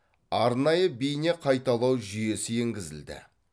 арнайы бейне қайталау жүйесі енгізілді